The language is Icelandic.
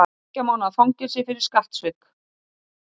Tveggja mánaða fangelsi fyrir skattsvik